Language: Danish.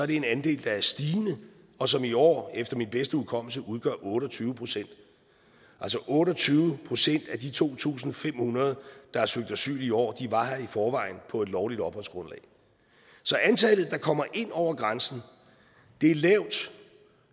det er en andel der er stigende og som i år efter min bedste hukommelse udgør otte og tyve procent så otte og tyve procent af de to tusind fem hundrede der har søgt asyl i år var her i forvejen på et lovligt opholdsgrundlag så antallet der kommer ind over grænsen er lavt